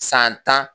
San tan